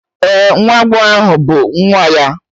Ee, nwa agbọghọ ahụ bụ nwa ya.